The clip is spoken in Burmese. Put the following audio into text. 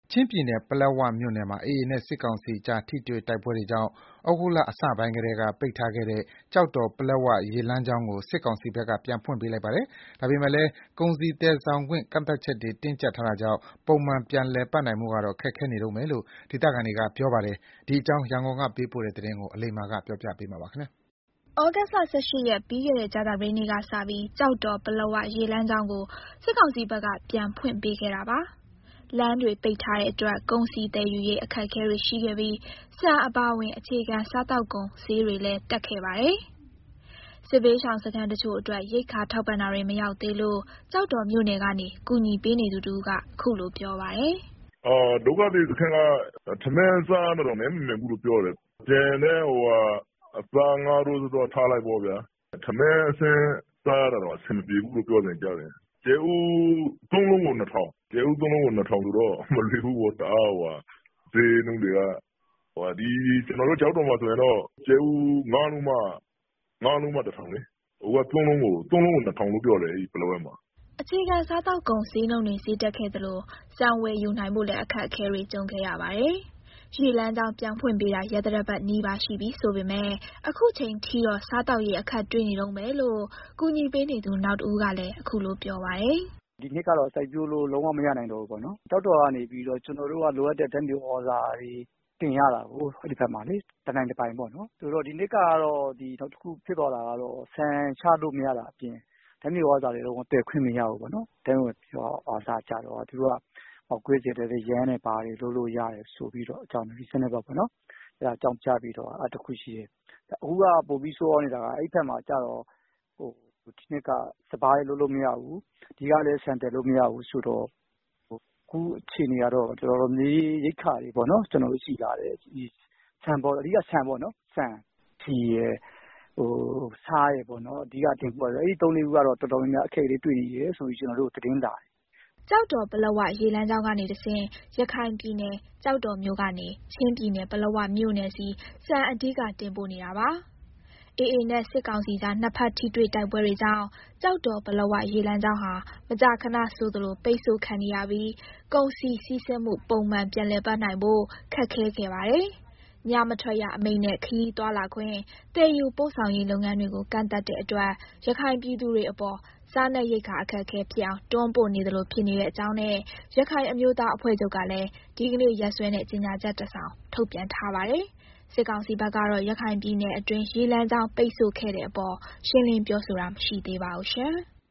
ချင်းပြည်နယ်၊ ပလက်ဝမြို့နယ်မှာ AA နဲ့ စစ်ကောင်စီကြား ထိတွေ့တိုက်ပွဲတွေကြောင့် ဩဂုတ်လအစပိုင်းကတည်းက ပိတ်ထားခဲ့တဲ့ ကျောက်တော် - ပလက်ဝ ရေလမ်းကြောင်းကို စစ်ကောင်စီဘက်က ပြန်ဖွင့်ပေးလိုက်ပါတယ်။ ဒါပေမယ့်လည်း ကုန်စည်သယ်ဆောင်ခွင့် ကန့်သတ်ချက်တွေ တင်းကျပ်ထားတာကြောင့် ပုံမှန်ပြန်လည်ပတ်နိုင်ဖို့ကတော့ ခက်ခဲနေတုန်းပဲလို့ ဒေသခံတွေကပြောပါတယ်။ ဒီအကြောင်း ရန်ကုန်ကပေးပို့တဲ့ သတင်းကို အလိမ္မာက တင်ပြပေးထားပါတယ်။ ဩဂုတ်လ ၁၈ ရက်၊ ပြီးခဲ့တဲ့ ကြာသပတေးနေ့ကစပြီး ကျော်တော် ပလက်ဝ ရေလမ်းကြောင်းကို စစ်ကောင်စီဘက်က ပြန်ဖွင့်ပေးခဲ့တာပါ။ လမ်းတွေပိတ်ထားတဲ့အတွက် ကုန်စည်သယ်ယူရေး အခက်အခဲတွေရှိခဲ့ပြီး ဆန်အပါအဝင် အခြေခံစားသောက်ကုန် ဈေးတွေလည်း တက်ခဲ့ပါတယ်။ စစ်ဘေးရှောင်စခန်းတချို့အတွက် ရိက္ခာထောက်ပံ့တာတွေ မရောက်သေးဘူးလို့ ကျောက်တော်မြို့ကနေ ကူညီပေးနေသူတဦးက ပြောပါတယ်။ "ဒုက္ခသည်စခန်းက ထမင်းစားရတာတောင် နပ်မမှန်ဘူးလို့ပြောတယ်။ ကျန်တဲ့ အသား၊ ငါးကတော့ ထားလိုက်ပေါ့ဗျာ။ ထမင်းအဆင့်စားရဖို့တောင် နပ်မမှန်ဘူးလို့ပြောတယ်။ ကြက်ဥ ၃ လုံးကို ၂ ထောင်ဆိုတော့ စားရဖို့က မလွယ်ဘူးပေါ့။ ဈေးနှုန်းတွေက ကျနော်တို့ ကျောက်တော်မှာဆိုရင်တော့ ကြက်ဥ ၅ လုံးမှ ၁ ထောင်လေ။ အခု ပလက်ဝမှာက ကြက်ဥ ၃ လုံးကို ၂ ထောင်ဖြစ်နေတယ်။" အခြေခံစားသောက်ကုန် ဈေးနှုန်းတွေ ဈေးတက်ခဲ့သလို ဆန်ဝယ်ယူနိုင်ဖို့လည်း အခက်အခဲတွေ ကြုံခဲ့ရပါတယ်။ ရေလမ်းကြောင်း ပြန်ဖွင့်ပေးတာ ရက်သတ္တပတ်နီးပါး ရှိပြီဆိုပေမယ့် အခုချိန်ထိတော့ စားသောက်ရေး အခက်တွေ့နေတုန်းပဲလို့ ကူညီပေးနေသူ နောက်တဦးကလည်း ပြောပါတယ်။ "ဒီနှစ်ကတော့ စိုက်ပျိုးလို့ လုံးဝမရနိုင်တော့ဘူးပေါ့။ ကျောက်တော်မြို့ကနေပြီးတော့ ကျနော်တို့က လိုအပ်တဲ့ဓာတ်မြေဩဇာတွေ တနိုင်တပိုင်တင်ရတာကို။ ဆိုတော့ ဒီနှစ်ကတော့ နောက်တခုဖြစ်သွားတာက ဆန်ချလို့မရတာအပြင် ဓာတ်မြေဩဇာတွေလည်း ဝင်သယ်ခွင့်မရဘူးပေါ့နော်။ ဓာတ်မြေဩဇာကျတော့ ပေါက်ကွဲစေတတ်တဲ့ ယမ်းတွေဘာတွေ လုပ်လို့ရတယ် ဆိုပြီးတော့ အကြောင်းပြတာ။ အခုက ပိုပြီးဆိုးရွားနေတာက အဲဒီဘက်မှာ ဒီနှစ်က စပါးလည်း လုပ်လို့မရဘူး။ ဒီကလည်း ဆန်သယ်လို့မရဘူး။ ဆိုတော့ အခုအခြေအနေကတော့ ရိက္ခာ တော်တော်လေးခက်ခဲနေတယ်။ အဓိက ဆန်ပေါ့နော်။ ဆန်၊ ဆီ၊ ဆား အဲဒါတွေကတော့ တော်တော်လေးခက်ခဲနေတယ်။" ကျောက်တော် - ပလက်ဝ ရေလမ်းကြောင်းကနေတဆင့် ရခိုင်ပြည်နယ်၊ ကျောက်တော်မြို့ ကနေ ချင်းပြည်နယ်၊ ပလက်ဝမြို့နယ်ဆီ ဆန်အဓိက တင်ပို့ပေးနေတာပါ။ AA နဲ့ စစ်ကောင်စီကြား နှစ်ဘက်ထိတွေ့တိုက်ပွဲတွေကြောင့် ကျောက်တော် - ပလက်ဝ ရေလမ်းကြောင်းဟာ မကြာခဏဆိုသလို ပိတ်ဆို့ခံနေရပြီး ကုန်စည်စီးဆင်းမှု ပုံမှန်ပြန်လည်ပတ်နိုင်ဖို့ ခက်ခဲခဲ့ပါတယ်။ ညမထွက်ရအမိန့်နဲ့ ခရီးသွားလာခွင့်၊ သယ်ယူပို့ဆောင်ရေးလုပ်ငန်းတွေကို ကန့်သတ်တဲ့အတွက် ရခိုင်ပြည်သူတွေအပေါ် စားနပ်ရိက္ခာအခက်အခဲဖြစ်အောင် တွန်းပို့နေသလို ဖြစ်နေကြောင်းနဲ့ ရခိုင်အမျိုးသားအဖွဲ့ချုပ်ကလည်း ဒီနေ့ ရက်စွဲနဲ့ ကြေညာချက် တစောင် ထုတ်ပြန်ထားပါတယ်။ စစ်ကောင်စီဘက်ကတော့ ရခိုင်ပြည်နယ်အတွင်း ရေလမ်းကြောင်း ပိတ်ဆိုခဲ့တဲ့အပေါ် ရှင်းလင်းပြောဆိုတာ မရှိသေးပါဘူး။